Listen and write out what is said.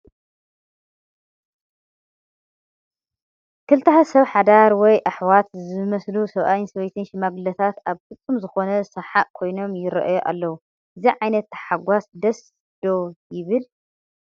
ክልተ ሰብ ሓዳር ወይ ኣሕዋት ዝመስሉ ሰብኣይን ሰበይትን ሽማግለታት ኣብ ፍፁም ዝኾነ ሰሓቕ ኮይኖም ይርአዩ ኣለዉ፡፡ እዚ ዓይነት ተሓጓስ ደስ ዶ ይብል?